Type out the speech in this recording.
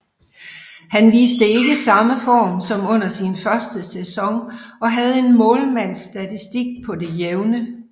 Han viste ikke samme form som under sin første sæson og havde en målmandsstatistik på det jævne